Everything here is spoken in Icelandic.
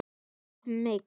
Og mig!